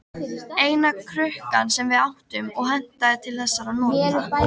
Eina krukkan sem við áttum og hentaði til þessara nota.